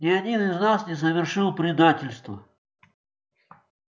ни один из нас не совершил предательства